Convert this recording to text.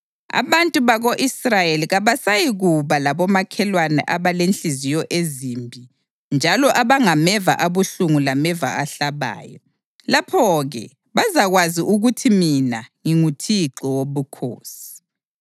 Abantu bako-Israyeli kabasayikuba labomakhelwane abalenhliziyo ezimbi njalo abangameva abuhlungu lameva ahlabayo. Lapho-ke bazakwazi ukuthi mina nginguThixo Wobukhosi.